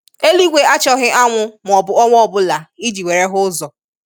Eluigwe achọghị anwụ maọbu ọnwa ọbụla i ji were hụ ụzọ.